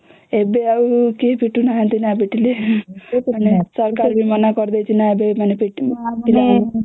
ଏବେ ଆଉ କେହି ପିଟୁ ନାହାନ୍ତି ନ ପିଟିଲେ ମାନେ ସରକାର ବି ମନା କରିଦେଇଛି ନ ଏବେ ପିଟିବାକୁ